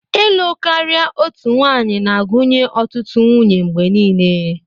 Ịlụ karia otu nwanyị na-agụnye ọtụtụ nwunye mgbe niile.